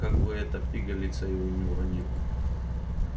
как бы эта пигалица его не уронила